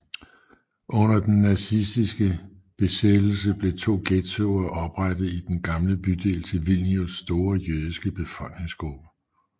Under den nazistiske besættelse blev to ghettoer oprettet i den gamle bydel til Vilnius store jødiske befolkningsgruppe